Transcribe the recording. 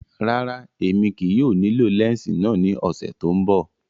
Rárá, Emi kii yóò nilo lẹnsi náa ni ọsẹ to nbọ.